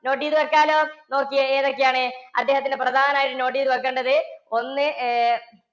note ചെയ്തു വയ്ക്കാലോ. നോക്കിയേ ഏതൊക്കെയാണ് അദ്ദേഹത്തിന്റെ പ്രധാനം ആയിട്ട് note ചെയ്ത് വയ്ക്കേണ്ടത് ഒന്ന് ഏർ